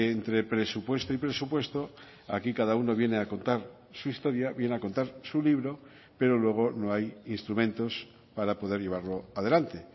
entre presupuesto y presupuesto aquí cada uno viene a contar su historia viene a contar su libro pero luego no hay instrumentos para poder llevarlo adelante